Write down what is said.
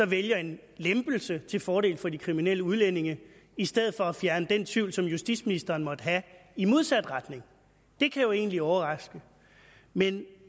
vælger en lempelse til fordel for de kriminelle udlændinge i stedet for at fjerne den tvivl som justitsministeren måtte have i modsat retning det kan jo egentlig overraske men